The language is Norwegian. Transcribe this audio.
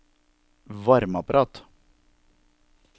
varmeapparat